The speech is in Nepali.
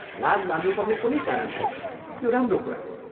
लाज मान्नुपर्ने कुनै कारण छैन, यो राम्रो कुरा हो।